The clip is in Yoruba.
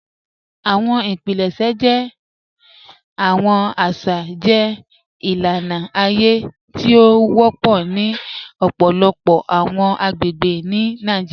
Awọn ipilẹṣẹ jẹ awọn aṣa jẹ ilana aye ti o wọpọ ni ọpọlọpọ awọn agbegbe ni Nàìjíríà.